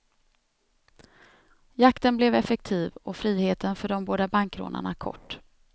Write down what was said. Jakten blev effektiv och friheten för de båda bankrånarna kort.